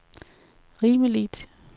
rimeligt